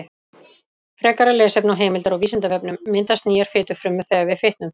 Frekara lesefni og heimildir á Vísindavefnum: Myndast nýjar fitufrumur þegar við fitnum?